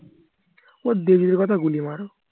কথা গুলি মারো